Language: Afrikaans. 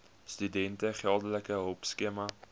studente geldelike hulpskema